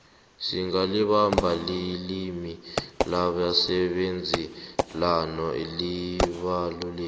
singalibali lilimi labasebenzi nalo libalulekile